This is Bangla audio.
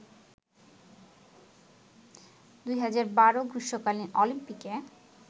২০১২ গ্রীষ্মকালীন অলিম্পিকে